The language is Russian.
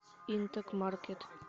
интэк маркет